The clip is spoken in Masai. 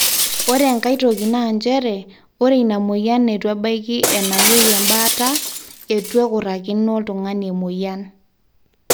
ore enkai toki naa njere ore ina mweyian neitu ebaiki enayieu embaata eitu ekurakino oltung'ani emweyian